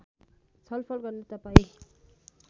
छलफल गर्न तपाईँ